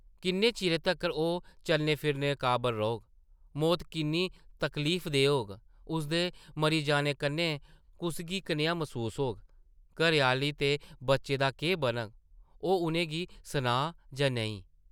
किन्ने चिरै तक्कर ओह् चलने-फिरने काबल रौह्ग; मौत किन्नी तकलीफदेह् होग; उसदे मरी जाने कन्नै कुसगी कनेहा मसूस होग; घरै-आह्ली ते बच्ची दा केह् बनग; ओह् उʼनें गी सनाऽ जां नेईं?